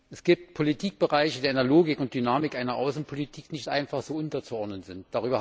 Es gibt Politikbereiche, die der Logik und Dynamik einer Außenpolitik nicht einfach so unterzuordnen sind.